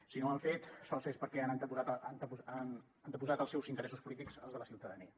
si no ho han fet sols és perquè han anteposat els seus interessos polítics als de la ciutadania